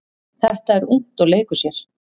Þetta er ungt og leikur sér.